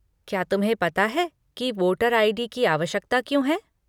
क्या तुम्हें पता है कि वोटर आई.डी. की आवश्यकता क्यों है?